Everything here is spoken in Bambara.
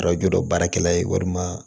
Arajo baarakɛla ye walima